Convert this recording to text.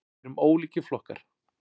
Við erum ólíkir flokkar.